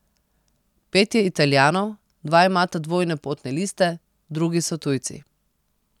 Pet je Italijanov, dva imata dvojne potne liste, drugi so tujci.